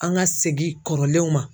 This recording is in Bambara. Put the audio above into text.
An ka segin kɔrɔlenw ma.